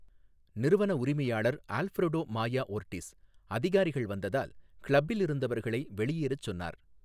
நிறுவன உரிமையாளர் Alfredo Maya Ortiz, அதிகாரிகள் வந்ததால் கிளப்பில் இருந்தவர்களை வெளியேறச் சொன்னார்.